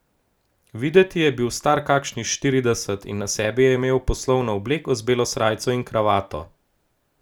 Videti je bil star kakih štirideset in na sebi je imel poslovno obleko z belo srajco in kravato.